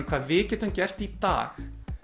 hvað við getum gert í dag